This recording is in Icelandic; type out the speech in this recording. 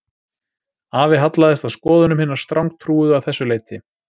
Afi hallaðist að skoðunum hinna strangtrúuðu að þessu leyti